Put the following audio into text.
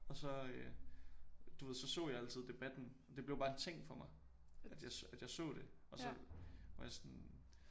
Og så øh du ved så så jeg altid debatten og det blev bare en ting for mig at jeg at jeg så det og så var jeg sådan